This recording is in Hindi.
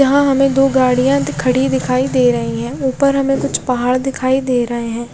यहाँ हमे दो गाड़िया खड़ी दिखाई दे रहा है ऊपर हमे कुछ पहाड़ दिखाई दे रहे है।